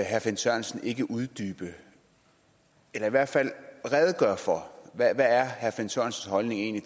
herre finn sørensen ikke uddybe eller i hvert fald redegøre for hvad herre finn sørensens holdning egentlig